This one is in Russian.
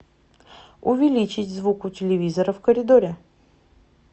увеличить звук у телевизора в коридоре